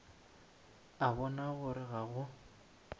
a bona gore ga go